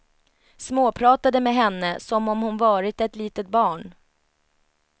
Småpratade med henne som om hon varit ett litet barn.